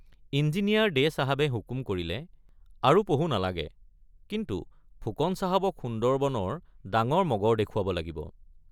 Engineer দে চাহাবে হুকুম কৰিলে আৰু পহু নালাগে কিন্তু ফুকন চাহাবক সুন্দৰবনৰ ডাঙৰ মগৰ দেখুৱাব লাগিব।